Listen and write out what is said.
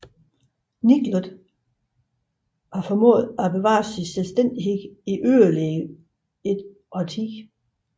Niklot formåede at bevare sin selvstændighed i yderligere et årti